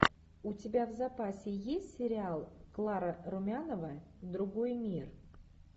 у тебя в запасе есть сериал клара румянова другой мир